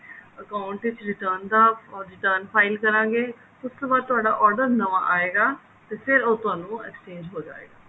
account ਵਿੱਚ return ਦਾ return file ਕਰਾਂਗੇ ਉਸ ਤੋਂ ਬਾਅਦ ਤੁਹਾਡਾ order ਨਵਾ ਆਏਗਾ ਤੇ ਉਹ ਫੇਰ ਤੁਹਾਨੂੰ exchange ਹੋ ਜਾਏਗਾ